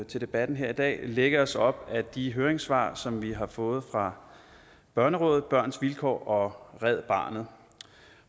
til debatten her i dag lægge os op ad de høringssvar som vi har fået fra børnerådet børns vilkår og red barnet